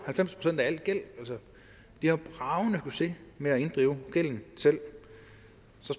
halvfems procent af al gæld de har bragende succes med at inddrive gælden selv